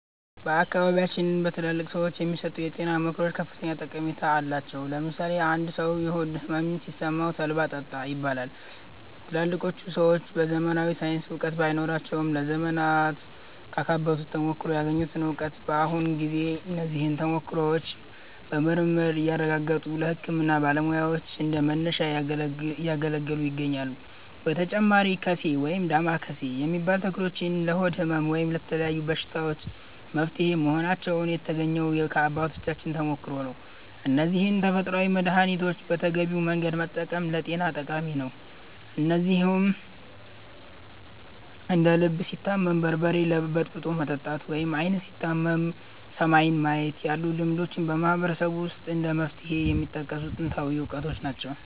በአካባቢያችን በትላልቅ ሰዎች የሚሰጡ የጤና ምክሮች ከፍተኛ ጠቀሜታ አላቸው። ለምሳሌ አንድ ሰው የሆድ ሕመም ሲሰማው 'ተልባ ጠጣ' ይባላል። ትላልቆቹ ሰዎች ዘመናዊ ሳይንሳዊ እውቀት ባይኖራቸውም፣ ለዘመናት ካካበቱት ተሞክሮ ያገኙት እውቀት ነው። በአሁኑ ጊዜ እነዚህ ተሞክሮዎች በምርምር እየተረጋገጡ ለሕክምና ባለሙያዎች እንደ መነሻ እያገለገሉ ይገኛሉ። በተጨማሪም 'ቀሴ' (ወይም ዳማከሴ) የሚባሉ ተክሎች ለሆድ ሕመም እና ለተለያዩ በሽታዎች መፍትሄ መሆናቸው የተገኘው ከአባቶቻችን ተሞክሮ ነው። እነዚህን ተፈጥሯዊ መድኃኒቶች በተገቢው መንገድ መጠቀም ለጤና ጠቃሚ ነው። እንደዚሁም እንደ 'ልብ ሲታመም በርበሬ በጥብጦ መጠጣት' ወይም 'ዓይን ሲታመም ሰማይን ማየት' ያሉ ልማዶችም በማህበረሰቡ ውስጥ እንደ መፍትሄ የሚጠቀሱ ጥንታዊ እውቀቶች ናቸው።